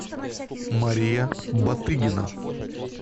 мария батыгина